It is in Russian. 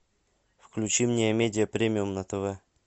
включи мне амедия премиум на тв